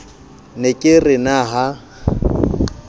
ne ke re na ha